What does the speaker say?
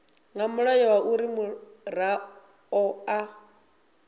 nga mulayo uri muraḓo a